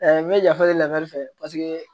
n bɛ yafa deli fɛ paseke